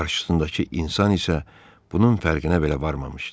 qarşısındakı insan isə bunun fərqinə belə varmamışdı.